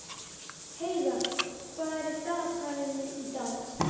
Heiðarr, hvað er á dagatalinu í dag?